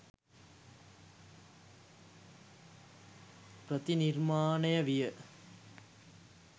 ප්‍රතිනිර්මාණය විය